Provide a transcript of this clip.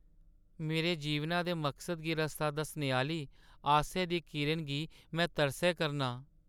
मेरे जीवनै दे मकसद गी रस्ता दस्सने आह्‌ली आसै दी इक किरणा गी में तरसै करनां ।